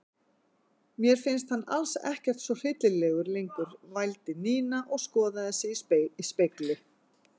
Mér finnst hann alls ekkert svo hryllilegur lengur vældi Nína og skoðaði sig í spegli.